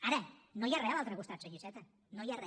ara no hi ha re a l’altre costat senyor iceta no hi ha re